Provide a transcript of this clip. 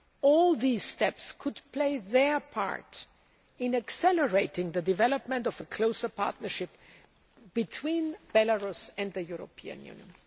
All these steps could play their part in accelerating the development of a closer partnership between Belarus and the European Union.